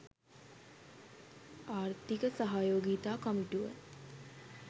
ආර්ථික සහයෝගිතා කමිටුව